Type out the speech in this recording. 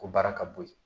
Ko baara ka bo ye